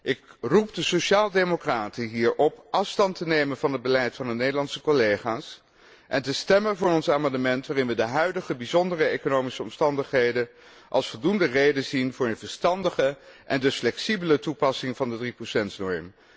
Ik roep de sociaal democraten hier op afstand te nemen van het beleid van hun Nederlandse collega's en te stemmen voor onze amendementen waarin we de huidige bijzondere economische omstandigheden als voldoende reden zien voor een verstandige en dus flexibele toepassing van de 3 norm.